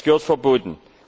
Es gehört verboten!